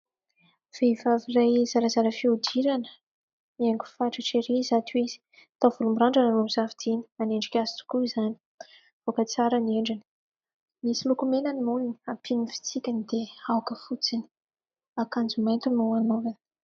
Vehivavy iray zarazara fihodirana niaingo fatratra ery izato izy taovolo mirandrana no nisafidiny, manendrika azy tokoa izany mivoaka tsara ny endriny, misy lokomena ny molony hampiany fitsikiny dia aoka fotsiny, akanjo mainty no hanaovany.